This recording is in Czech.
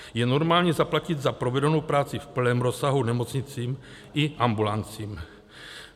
Je normální zaplatit za provedenou práci v plném rozsahu nemocnicím i ambulancím.